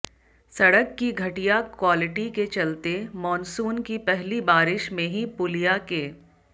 सड़क की घटिया क्वालिटी के चलते मानसून की पहली बारिश में ही पुलिया के